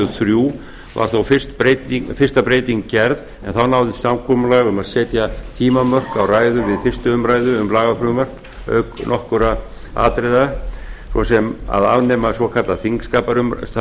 þrjú var þó fyrsta breytingin gerð en þá náðist samkomulag um að setja tímamörk á ræður við fyrstu umræðu um lagafrumvörp auk nokkurra annarra atriða svo sem að afnema